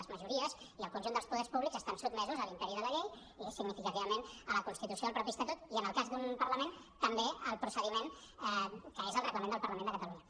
les majories i el conjunt dels poders públics estan sotmesos a l’imperi de la llei i significativament a la constitució al mateix estatut i en el cas d’un parlament també al procediment que és el reglament del parlament de catalunya